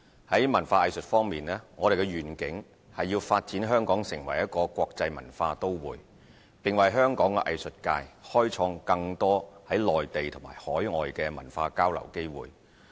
在文化藝術方面，我們的願景是發展香港成為一個國際文化都會，並為香港藝術界開創更多內地及海外的文化交流機會。